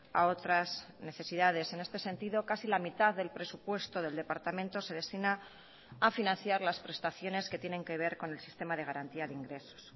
a otras necesidades en este sentido casi la mitad del presupuesto del departamento se destina a financiar las prestaciones que tienen que ver con el sistema de garantía de ingresos